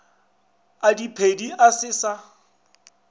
a diphedi a se sa